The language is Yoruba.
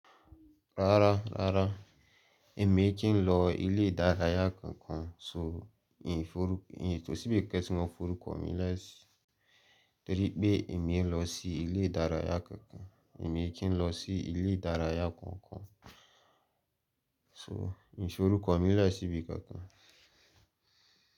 Rárá, rárá, èmi ee kì n lọ ilé ìdárayá kankan so, ìn forú, ì kòsí bí kan ti mó forúkọ mií le sí torí pé èmi ee lọ sí ilé ìdárayá kankan. Èmi ee kìn lọ sí ilé ìdárayá kankan so, mi f'orúkọ mi le sí bí kankan.